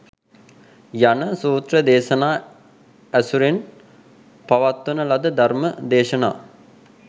යන සූත්‍ර දේශනා ඇසුරෙන් පවත්වන ලද ධර්ම දේශනා